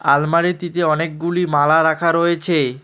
আলমারিটিতে অনেকগুলি মালা রাখা রয়েছে।